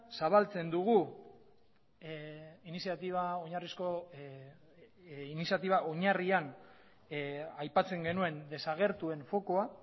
zabaltzen dugu iniziatiba oinarrizko iniziatiba oinarrian aipatzen genuen desagertuen fokua